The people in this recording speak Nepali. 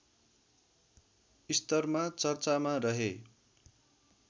स्तरमा चर्चामा रहे